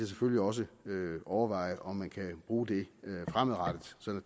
selvfølgelig også vil overveje om man kan bruge det fremadrettet sådan